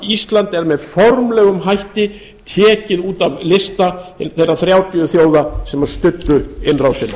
ísland er með formlegum hætti tekið út af lista þeirra þrjátíu þjóða sem studdu innrásina